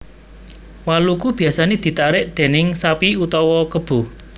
Waluku biasané ditarik déning sapi utawa kebo